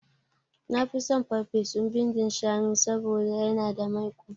Nafi son ferfesun bindin shanu saboda yana da maiƙo